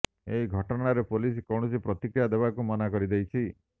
ଏହି ଘଟଣାରେ ପୋଲିସ କୌଣସି ପ୍ରତିକ୍ରିୟା ଦେବାକୁ ମନା କରିଦେଇଛି